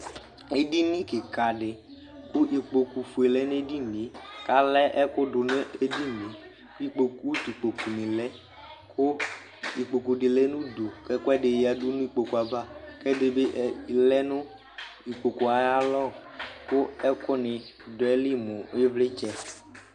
ɛdini kikadi ku ɩkpɔkpu fɛdibi lunuɛdiyɛ kaluɛ ɛkudu nu ɛdiyɛ ku ɩkpokpu ku ɩkpɔkpu dibilɛ kɛ ɛdiyanu ɛdibi yanuayalɛ ku ɛkunidi lɛnu atanɛalu